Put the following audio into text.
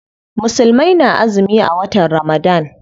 Musulmai na azumi a watan Ramadan.